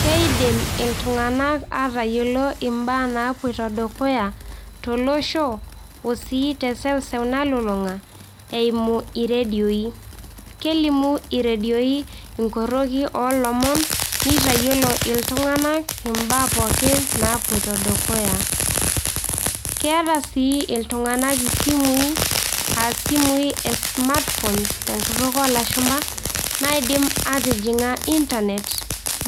Keidim iltung'anak atayiolo ibaa naapoito dukuya tolosho osii teseuseu nalulung'a eimu irredioi. Kelimu irredioi ing'orrokie olomon neitayiolo iltung'anak imbaa pooki napoito dukuya. Keeta sii iltung'anak isimui aa isimui e smartphone tenkutuk oo lashumba naidim atijing'a internet